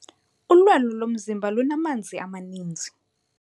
Ulwelo lomzimba lunamanzi amaninzi.